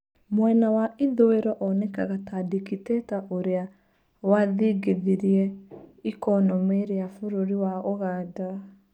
Mwena wa ithũĩro onekaga ta dikitata ũrĩa wathingithirĩe ikonomĩ rĩa bũrũri wa ũganda.